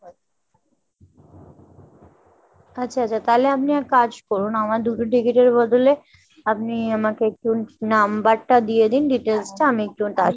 আচ্ছা আচ্ছা। তালে আপনি এক কাজ করুন আমায় দুটো ticket এর বদলে আপনি আমাকে একটু number টা দিয়ে দিন details টা আমি